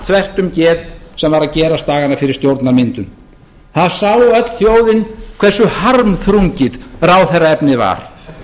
þvert um geð sem var að gerast dagana fyrir stjórnarmyndun það sá öll þjóðin hversu harmþrungið ráðherraefnið var